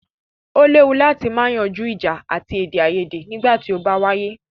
O léwu láti má yanjú ìjà àti èdèaiyèdè nígbà tí o bá wáyé.